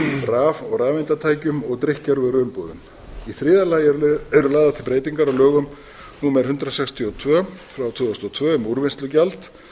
raf og rafeindatækjum og drykkjarvöruumbúðum í þriðja lagi eru lagðar til breytingar á lögum númer hundrað sextíu og tvö tvö þúsund og tvö um úrvinnslugjald